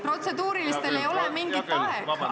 Protseduurilistel sõnavõttudel ei ole mingit aega.